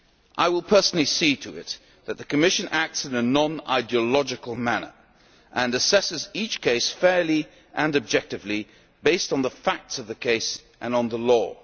I will personally see to it that the Commission acts in a non ideological manner and assesses each case fairly and objectively, based on the facts of the case and on the